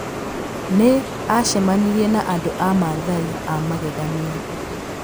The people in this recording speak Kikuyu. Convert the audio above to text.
Nĩ aacemanirie na andũ a Maathai a magegania.